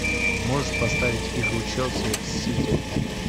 можешь поставить игру челси с сити